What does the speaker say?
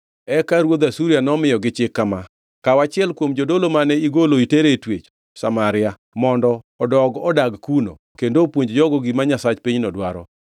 Eka ruodh Asuria nomiyogi chik kama: “Kaw achiel kuom jodolo mane igolo itero e twech Samaria mondo odog odag kuno kendo opuonj jogo gima nyasach pinyno dwaro.”